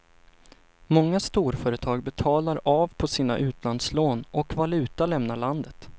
Många storföretag betalar av på sina utlandslån och valuta lämnar landet.